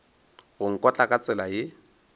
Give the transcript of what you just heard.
go nkotla ka tsela ye